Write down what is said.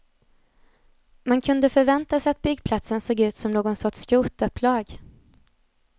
Man kunde förvänta sig att byggplatsen såg ut som någon sorts skrotupplag.